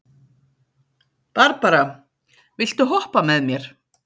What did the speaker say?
Barbara, viltu hoppa með mér?